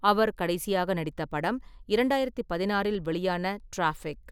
அவர் கடைசியாக நடித்த படம் இரண்டாயிரத்து பதினாறில் வெளியான 'டிராஃபிக்'.